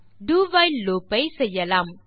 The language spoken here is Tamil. டோ வைல் லூப் ஐ செய்யலாம்